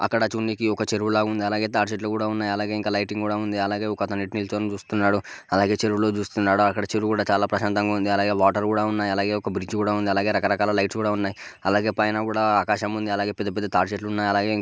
ఇక్కడ చూడీనికి ఒక చెరువులా ఉంది. అలాగే తాటి చెట్లున్నాయి. అలాగే లైటింగ్ కూడా ఉంది. అలాగే ఒకతను నించొని చూస్తున్నాడు. అలాగే చెరువులోకి చూస్తున్నాడు. అక్కడ కూడా చాలా ప్రశాంతంగా ఉంది. అలాగే వాటర్ కూడా ఉన్నాయి .అలాగే ఒక బ్రిడ్జి కూడా ఉంది. అలాగే రకరకాల లైట్స్కూ డా ఉన్నాయి. అలాగే పైన కూడా ఆకాశం ఉంది. అలాగే పెద్ద పెద్ద తాటి చెట్లు ఉన్నాయి. అలాగే--